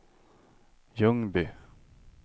Ljungby